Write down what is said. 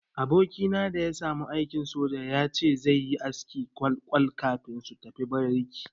Abokina da ya samu aikin soja ya ce zai yi askin kwal-kwal kafin su tafi bariki.